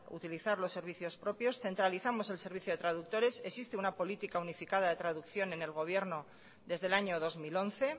utilizar los servicios propios centralizamos el servicio de traductores existe una política unificada de traducción en el gobierno desde el año dos mil once